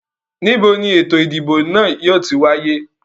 Níbo ni eto ìdìbò náà yìí ó ti wáyé?